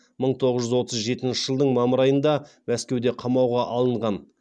мың тоғыз жүз отыз жетінші жылдың мамыр айында мәскеуде қамауға алынған